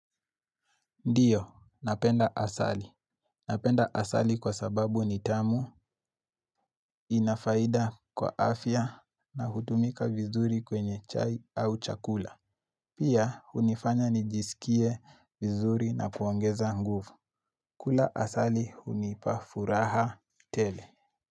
Ndiyo, napenda asali. Napenda asali kwa sababu ni tamu inafaida kwa afya navotumika vizuri kwenye chai au chakula. Pia, hunifanya nijisikie vizuri na kuongeza nguvu. Kula asali, hunipa furaha tele.